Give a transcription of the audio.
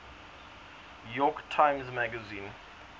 york times magazine